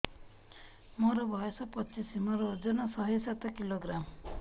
ମୋର ବୟସ ପଚିଶି ମୋର ଓଜନ ଶହେ ସାତ କିଲୋଗ୍ରାମ